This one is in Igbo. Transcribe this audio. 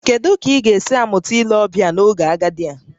Kedu ka ị ga-esi mụta ile ọbịa n'oge agadi a?